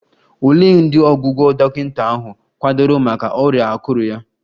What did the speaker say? Olee ụdị ọgwụgwọ dọkịta ahụ kwadoro maka ọrịa akụrụ ya?